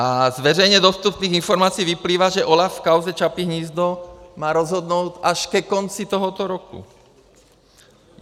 A z veřejně dostupných informací vyplývá, že OLAF v kauze Čapí hnízdo má rozhodnout až ke konci tohoto roku.